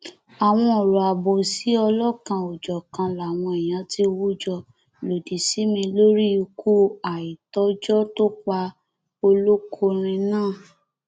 àwọn ọrọ àbòsí ọlọkanòjọkan làwọn èèyàn ti hun jọ lòdì sí mi lórí ikú àìtọjọ tó pa olókòrin náà